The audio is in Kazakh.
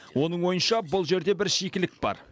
оның ойынша бұл жерде бір шикілік бар